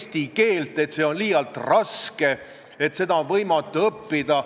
Kujutage ette, et teie juhitud ettevõttes on autojuht, kelle juhiluba on kaotanud kehtivuse, aga ta sõidab rahulikult edasi.